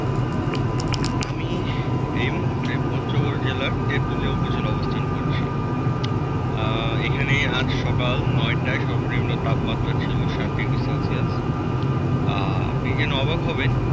আমি এই মুহূর্তে পঞ্চগড় জেলার তেঁতুলিয়া উপজেলা তে অবস্থান করছি। আহ এখানে আজ সকাল নয়টাই সর্বনিম্ন তাপমাত্রা ছিল সাত degrees celsius । আহ আপনি যেনে অবাক হবেন,